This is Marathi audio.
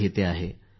हो बरोबर